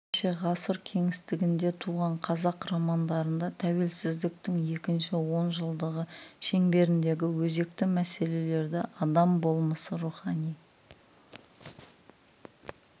ендеше ғасыр кеңістігінде туған қазақ романдарында тәуелсіздіктің екінші он жылдығы шеңберіндегі өзекті мәселелерді адам болмысы рухани